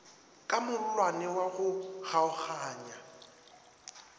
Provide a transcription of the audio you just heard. ka mollwane wa go kgaoganya